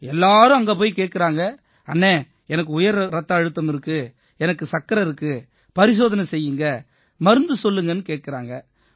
எல்லாரும் அங்க போய் ஆலோசனை கேட்கறாங்க அண்ணே எனக்கு உயர் ரத்த அழுத்தம் இருக்கு எனக்கு சர்க்கரை இருக்கு பரிசோதனை செய்யுங்க மருந்து சொல்லுங்கன்னு கேட்கறாங்க